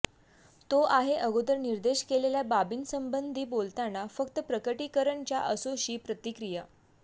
तो आहे अगोदर निर्देश केलेल्या बाबीसंबंधी बोलताना फक्त प्रकटीकरण च्या असोशी प्रतिक्रिया